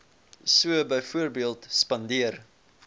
so byvoorbeeld spandeer